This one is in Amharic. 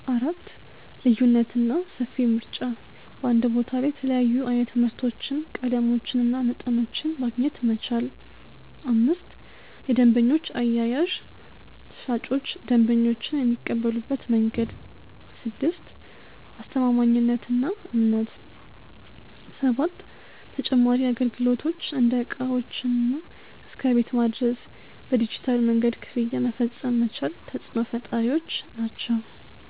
4. ልዩነትና ሰፊ ምርጫ በአንድ ቦታ ላይ የተለያዩ ዓይነት ምርቶችን፣ ቀለሞችንና መጠኖችን ማግኘት መቻል። 5. የደንበኞች አያያዝ ሻጮች ደንበኞችን የሚቀበሉበት መንገድ። 6. አስተማማኝነትና እምነት 7. ተጨማሪ አገልግሎቶች እንደ ዕቃዎችን እስከ ቤት ማድረስ፣ በዲጂታል መንገድ ክፍያ መፈጸም መቻል ተፅዕኖ ፈጣሪዎች ናቸው።